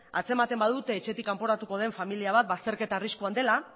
atzematen badute etxetik kanporatuko den familia bat bazterketa arriskuan dela